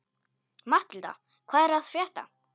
Matthilda, hvað er að frétta?